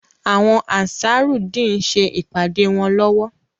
Àwọn Ansarudeen ń ṣe ìpàdé wọn lowo.